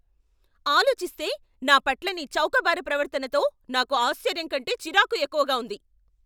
ఆలోచిస్తే, నా పట్ల నీ చౌకబారు ప్రవర్తనతో నాకు ఆశ్చర్యం కంటే చిరాకు ఎక్కువగా ఉంది.